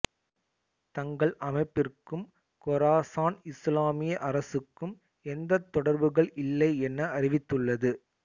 தங்கள் அமைப்பிற்கும் கொராசான் இசுலாமிய அரசுக்கும் எந்தத் தொடர்புகள் இல்லை என அறிவித்துள்ளது